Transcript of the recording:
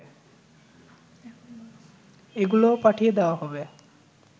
এগুলো পাঠিয়ে দেয়া হবে